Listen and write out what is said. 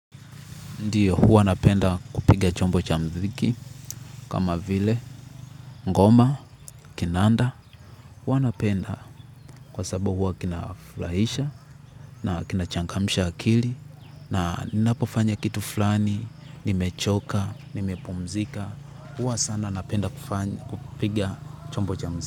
Ndio, huwa napenda kupiga chombo cha muziki, kama vile ngoma, kinanda, huwa napenda kwa sababu huwa kina furahisha na kinachangamsha akili na ninapofanya kitu fulani nimechoka, nimepumzika, huwa sana napenda kupiga chombo cha muziki.